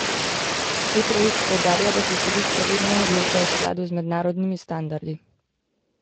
Petrovič poudarja, da se sodišče vedno odloča v skladu z mednarodnimi standardi.